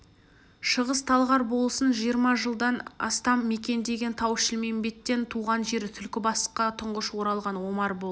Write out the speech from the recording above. шығыс-талғар болысын жиырма жылдан астам мекендеген тау-шілмембеттен туған жері түлкібасқа тұңғыш оралған омар болды